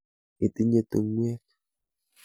Itinye tung'wek?